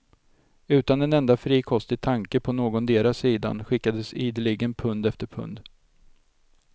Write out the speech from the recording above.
Utan en enda frikostig tanke på någondera sidan skickades ideligen pund efter pund.